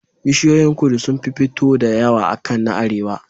Bishiyoyin kudu sunfi fito da Yaya akan na arewa